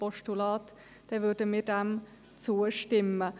Diesem würden wir dann zustimmen.